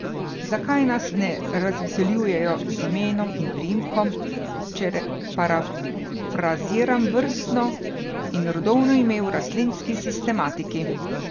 Zakaj nas ne razveseljujejo z imenom in priimkom, če parafraziram vrstno in rodovno ime v rastlinski sistematiki?